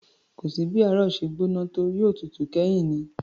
Kò sí bí ààrò ṣe gbóná tó, yóò tutù kẹ́yìn ni